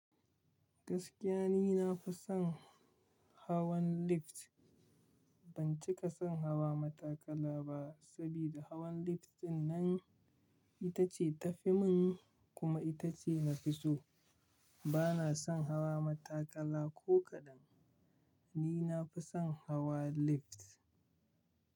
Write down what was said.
Gaskiya ni na fi son hawan lift. Ban cika son hawa matakala ba, saboda hawan lift dinnan ita ce ta fi min kuma ita ce na fi so. Bana son hawa matakala ko kaɗan. Ni na fi son hawa lift.